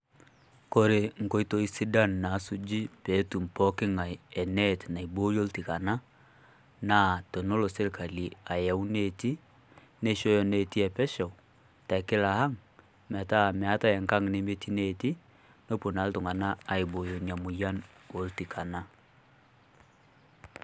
Kore nkotoi sidaan nasuji peyie etum pooki ng'ai enet naaibooyo ltikana naa toneloo sirikali ayau neeti, neishooyo neeti e peeshou te kilaa aang'. Meeta meetai enkaang' nimetii neeti noboo naa iltung'ana aibooyo nia moyian oltikana.